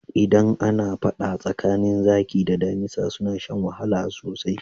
Idan ana faɗa tsakanin zaki da damisa suna shan wahala sosai.